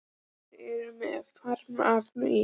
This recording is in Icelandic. Og þeir eru með farm af fugli.